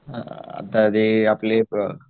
आता ते आपले